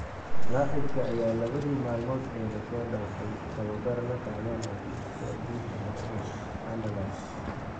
Laacibka ayaa labadii maalmood ee la soo dhaafay tababar la qaadanayay kooxdiisii ​​hore ee Anderlecht.